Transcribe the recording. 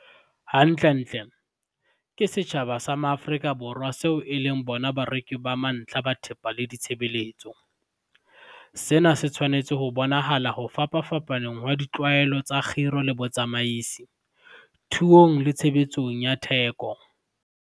Hantlentle, ke setjhaba sa Maafrika Borwa seo e leng bona bareki ba mantlha ba thepa le ditshebeletso. Sena se tshwanetse ho bonahala ho fapapfapaneng ha ditlwaelo tsa kgiro le botsamaisi, thuong le tshebetsong ya theko.